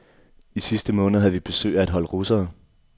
I sidste måned havde vi besøg af et hold russere.